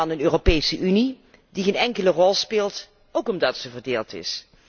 Een Europese Unie, die geen enkele rol speelt, ook omdat zij verdeeld is.